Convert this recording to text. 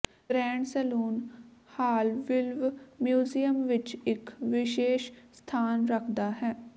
grand salon ਹਾਲਵਿਲਵ museum ਵਿਚ ਇਕ ਵਿਸ਼ੇਸ਼ ਸਥਾਨ ਰੱਖਦਾ ਹੈ